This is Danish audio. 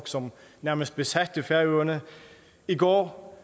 som nærmest besatte færøerne i går